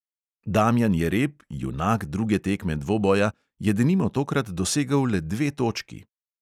Damjan jereb, junak druge tekme dvoboja, je denimo tokrat dosegel le dve točki ...